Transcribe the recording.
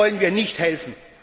Denen wollen wir nicht helfen.